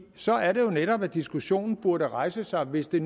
så er det jo netop diskussionen burde rejse sig hvis det